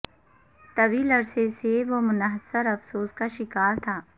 طویل عرصے سے وہ منحصر افسوس کا شکار تھا